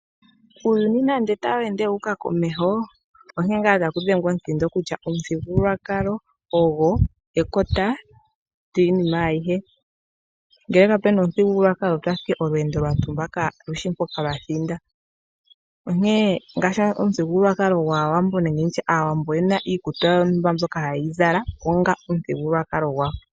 Uuyuni nando tawu ende wu uka komeho, onkene ngaa taku dhengwa omuthindo kutya omuthigululwakalo ogo ekota lyiinima ayihe. Ngele kapu na omuthigululwakalo otwa fa owala olweendo lwa tumba kaa lu shi mpoka lwa thinda, onkene omuthigululwakalo gwAawambo nenge Aawambo oye na iikutu yawo mbyoka haye yi zala onga omuthigululwakalo gwawo.